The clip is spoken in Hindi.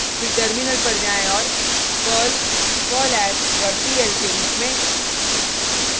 फिर टर्मिनल पर जाएँ औऱ perl perlhash dot pl के रुप में